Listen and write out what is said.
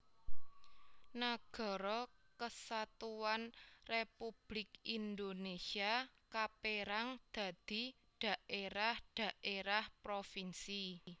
Nagara Kesatuan Republik Indonesia kapérang dadi daérah daérah provinsi